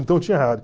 Então tinha rádio.